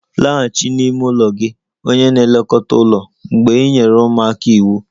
Laghachi n'ime ụlọ gị! Onye na-elekọta ụlọ mgbei nyere ụmụaka iwu